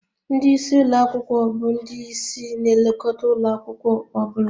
Ndị isi ụlọ akwụkwọ bụ ndị ịsị na-elekọta ụlọ akwụkwọ ọ bụla